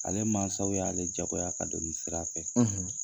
Ale mansaw y'ale jagoya ka don nin sira fɛ.